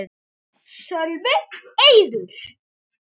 Sölvi: Eiður?